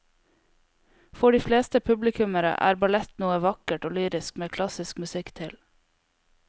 For de fleste publikummere er ballett noe vakkert og lyrisk med klassisk musikk til.